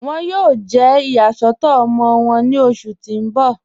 Wọn yóò jẹ́ iyàsọ̀tọ̀ ọmọ wọn ní ọṣù tí n bọ̀.